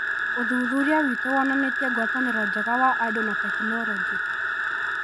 ũthuthuria witũ wonanĩtie ngwatanĩro njega wa andũ na tekinoronjĩ.